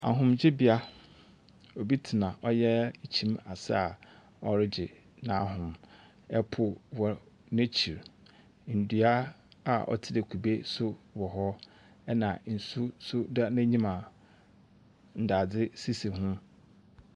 Ahomgyebea, obi tsena ɔyɛ kyim ase a ɔregye n'ahom. Po wɔ n'ekyir. Ndua a ɔtsena kube so wɔ hɔ, ɛnna nsuw nso da n'enyim a ndadze sisi ho.